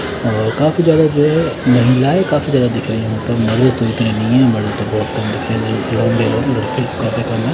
और काफी ज्यादा जो है महिलाएं काफी ज्यादा दिख रही हैं काफी कम है।